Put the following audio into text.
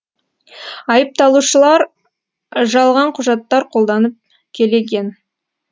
айыпталушылар жалған құжаттар қолданып келеген